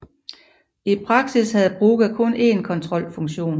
I praksis havde Brugha kun en kontrolfunktion